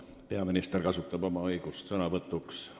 Peaminister kasutab oma õigust sõnavõtuks.